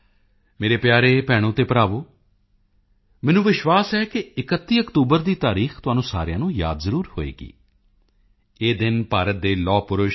ਮੇਰੇ ਪਿਆਰੇ ਭੈਣੋ ਤੇ ਭਰਾਵੋ ਮੈਨੂੰ ਵਿਸ਼ਵਾਸ ਹੈ ਕਿ 31 ਅਕਤੂਬਰ ਦੀ ਤਾਰੀਖ ਤੁਹਾਨੂੰ ਸਾਰਿਆਂ ਨੂੰ ਜ਼ਰੂਰ ਯਾਦ ਹੋਵੇਗੀ ਇਹ ਦਿਨ ਭਾਰਤ ਦੇ ਲੋਹਪੁਰਸ਼ ਸ